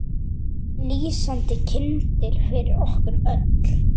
Lýsandi kyndill fyrir okkur öll.